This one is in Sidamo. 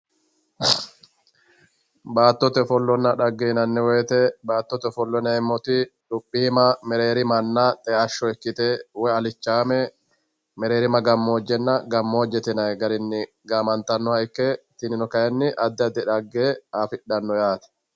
baattote ofollonna dhagge yinayi woyte baattote ofollo yinayiti luphiima mereerimanna xe'ashsho ikkite woy alichaame mereerima gammoojjnna woy gammoojje yinay garinni gaamantaha ikke tinino kayi addi addi dhagge afi'dhanno yaate